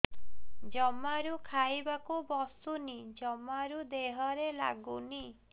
ଜମାରୁ ଖାଇବାକୁ ବସୁନି ଜମାରୁ ଦେହରେ ଲାଗୁନି